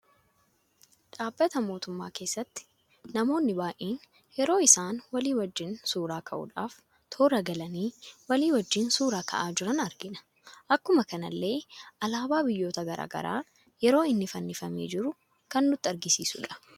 Dhabbata mootumma keesaatti namoonni baay'een yeroo isaan walii wajjin suuraa ka'uudhaf toora galanii walii wajjin suura ka'aa jiran argina. Akkuma kanallee Alaabaa biyyoota garaagaraa yeroo inni fannifame jiru kan nutti agarsiisuudha.